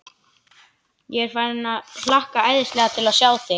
Ég er farinn að hlakka æðislega til að sjá þig.